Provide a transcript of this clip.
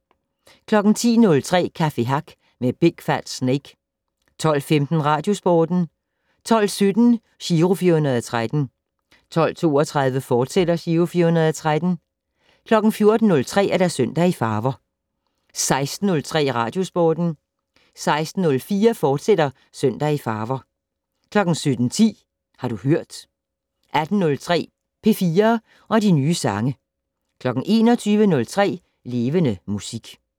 10:03: Café Hack med Big Fat Snake 12:15: Radiosporten 12:17: Giro 413 12:32: Giro 413, fortsat 14:03: Søndag i farver 16:03: Radiosporten 16:04: Søndag i farver, fortsat 17:10: Har du hørt 18:03: P4 og de nye sange 21:03: Levende Musik